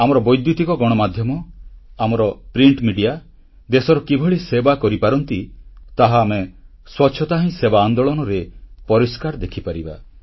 ଆମର ବୈଦ୍ୟୁତିକ ଗଣମାଧ୍ୟମ ଆମର ପ୍ରିଣ୍ଟ ମେଡିଆ ଦେଶର କିଭଳି ସେବା କରିପାରନ୍ତି ତାହା ଆମେ ସ୍ୱଚ୍ଛତା ହିଁ ସେବା ଆନ୍ଦୋଳନରେ ପରିଷ୍କାର ଦେଖିପାରିବା